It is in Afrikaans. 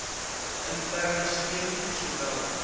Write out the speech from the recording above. interne steun sowel